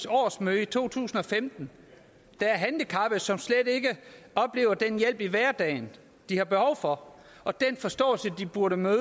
årsmøde i 2015 der er handicappede som slet ikke oplever den hjælp i hverdagen de har behov for og den forståelse de burde møde